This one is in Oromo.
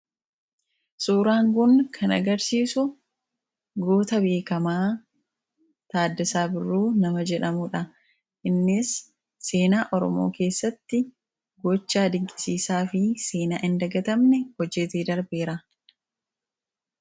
suuraan kun kan agarsiisu goota beekamaa Taaddasaa Birruu nama jedhamuudha. Innis seenaa Oromoo keessatti gochaa dinqisiisaa fi seenaa hin dagatamne hojjetee darbeera.